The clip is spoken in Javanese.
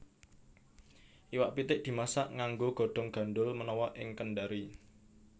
Iwak pitik dimasak nganggo godhong gandhul menawa ing Kendari